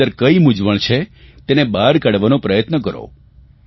તેની અંદર કઇ મૂંઝવણ છે તેને બહાર કાઢવાનો પ્રયાસ કરો